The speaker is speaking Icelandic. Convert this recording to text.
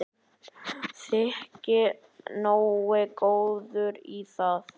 Þyki nógu góður í það.